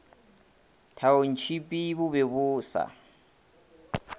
thaontšhipi bo be bo sa